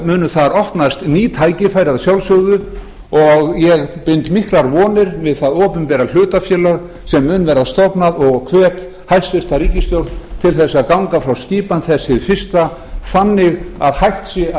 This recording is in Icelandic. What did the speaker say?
munu þar opnast ný tækifæri að sjálfsögðu og ég bind miklar vonir við það opinbera hlutafélag sem mun verða stofnað og hvet hæstvirt ríkisstjórn til þess að ganga frá skipan þess hið fyrsta þannig að hægt sé að